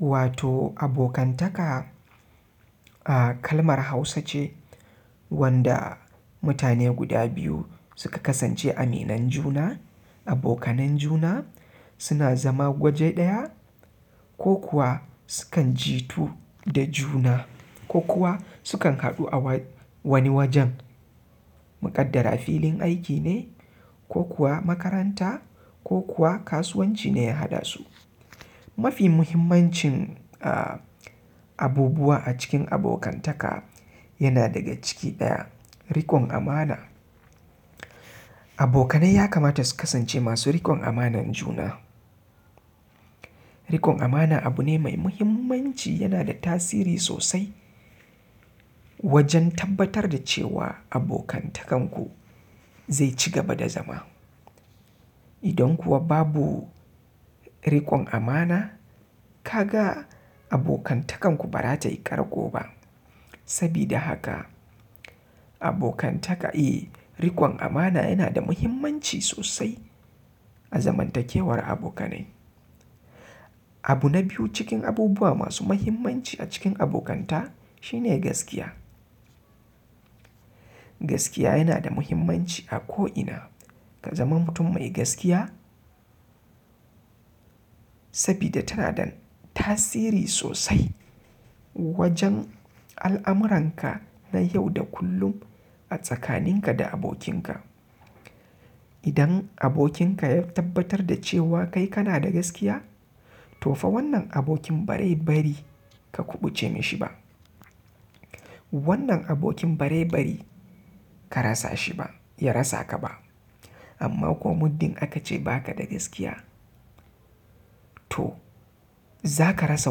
Wato abokantaka, ah kalmar Hausa ce wanda mutane guda biyu suka kasance aminan juna, abokanan juna suna zama waje ɗaya ko kuwa sukan jitu da juna ko kuwa sukan haɗu a wa-wani wajen mu ƙaddara filin aiki ne, ko kuwa makaranta, ko kuwa kasuwanci ne ya haɗasu. Mafi muhimmancin a-abubuwa a cikin abokantaka yana daga ciki ɗaya, riƙon amana. Abokanai ya kamata su kasance masu riƙon amanar juna. Riƙon amana abu ne mai muhimmanci yana da tasiri sosai wajen tabbatar da cewa abokantakanku zai ci gaba da zama. Idan kuwa babu riƙon amana, ka ga abokantakanku ba za ta yi ƙarƙo ba. Sabida haka abokantaka, i, riƙon amana yana da muhimmanci sosai a zamantakewar abokanai. Abu na biyu cikin abubuwa masu muhimmanci a cikin abokanta shine gaskiya. Gaskiya yana da muhimmanci a ko ina. Ka zama mutum mai gaskiya sabida tana da tasiri sosai wajen al'amuranka na yau da kullum a tsakaninka da abokinka. Idan abokinka ya tabbatar da cewa kai kana da gaskiya, to fa wannan abokin bazai bari ka kuɓuce mishi ba. Wannan abokin bari bari ka rasa shi ba, ya rasa ka ba. Amma ko muddin aka ce ba ka da gaskiya, to za ka rasa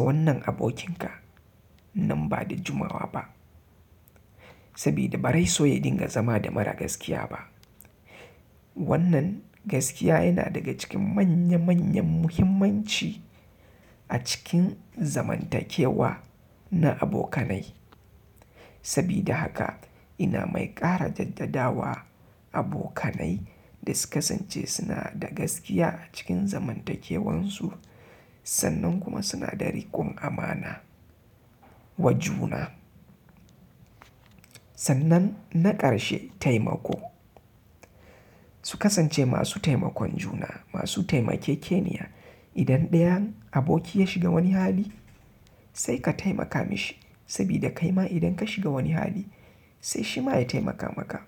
wannan abokinka nan ba da jimawa ba. Sabida bazai so ya dinga zama da mara gaskiya ba. Wannan gaskiya yana daga cikin manya manyan muhimmanci a cikin zamantakewa na abokanai. Sabida haka ina mai ƙara jaddada wa abokanai da su kasance suna da gaskiya a cikin zamantakewarsu sannan kuma suna da riƙon amana wa juna. Sannan na ƙarshe taimako. Su kasance masu taimakon juna, masu taimakekeniya. Idan ɗayan aboki ya shiga wani hali sai ka taimaka mishi sabida kaima idan ka shiga wani hali sai shi ma ya taimaka maka.